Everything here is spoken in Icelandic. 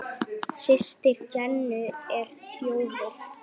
Systir Jennu er þjófur.